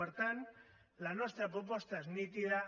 per tant la nostra proposta és nítida